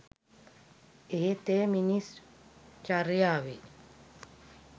එහෙත් එය මිනිස් චර්යාවේ